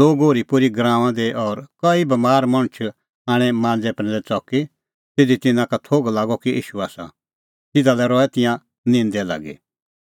लोग ओरीपोरीए गराऊंआं दी और कई बमार मणछ आणै मांज़ै प्रैंदै च़की ज़िधी तिन्नां का थोघ लागअ कि ईशू आसा तिधा लै रहै तिंयां निंदै लागी